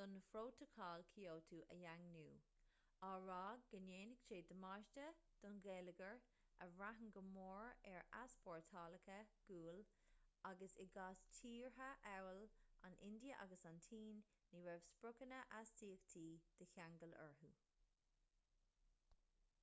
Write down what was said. don phrótacal kyoto a dhaingniú á rá go ndéanfadh sé damáiste don gheilleagar a bhraitheann go mór ar easpórtálacha guail agus i gcás tíortha amhail an india agus an tsín ní raibh spriocanna astaíochtaí de cheangal orthu